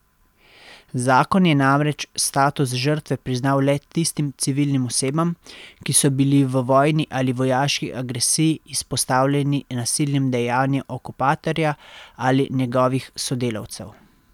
Zakon je namreč status žrtve priznal le tistim civilnim osebam, ki so bili v vojni ali vojaški agresiji izpostavljeni nasilnim dejanjem okupatorja ali njegovih sodelavcev.